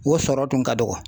O sɔrɔ kun ka dɔgɔ